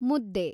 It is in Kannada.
ಮುದ್ದೆ